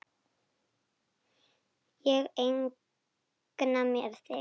Ég eigna mér þig.